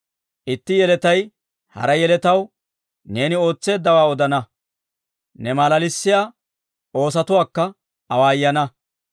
Itti yeletay hara yeletaw neeni ootseeddawaa odana; ne malalissiyaa oosotuwaakka awaayana.